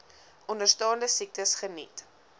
onderstaande siektes geniet